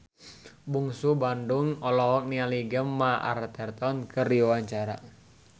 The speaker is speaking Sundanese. Bungsu Bandung olohok ningali Gemma Arterton keur diwawancara